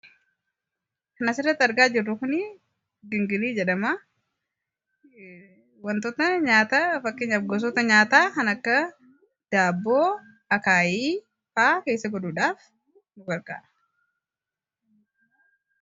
Kan asirratti argaa jirru kun gilgilii jedhama. wantoota nyaataman fakkeenyaaf gosoota nyaataa kan akka daabboo, akaayiifaa keessa godhuudhaaf nu gargaara.